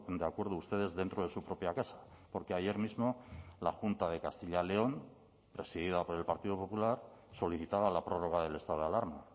de acuerdo ustedes dentro de su propia casa porque ayer mismo la junta de castilla león presidida por el partido popular solicitaba la prórroga del estado de alarma